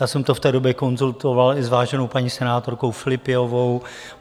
Já jsem to v té době konzultoval i s váženou paní senátorkou Filipiovou.